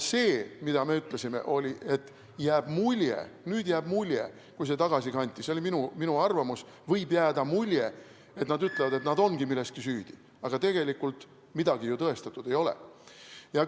See, mida me ütlesime, oli, et nüüd, kui see tagasi kanti , võib jääda mulje, et nad ütlevad, et nad ongi milleski süüdi, aga tegelikult midagi ju tõestatud ei ole.